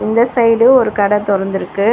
இந்த சைடு ஒரு கட தொறந்திருக்கு.